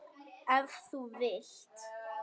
Ef þú vilt.